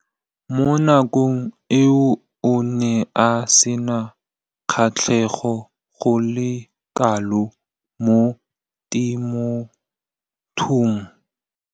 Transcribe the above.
Mo nakong eo o ne a sena kgatlhego go le kalo mo temothuong.